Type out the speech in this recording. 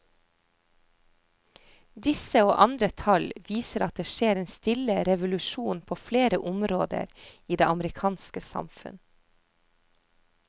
Disse og andre tall viser at det skjer en stille revolusjon på flere områder i det amerikanske samfunn.